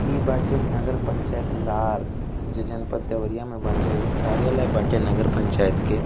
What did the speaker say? ई बाटे नगर पंचायत लार। जो जनपत देवरिया में बाटे। ई कार्यालय बाटे नगर पंचायत के।